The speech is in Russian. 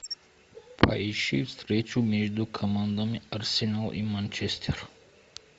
поищи встречу между командами арсенал и манчестер